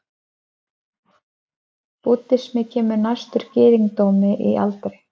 Búddismi kemur næstur gyðingdómi í aldri.